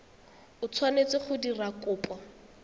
o tshwanetseng go dira kopo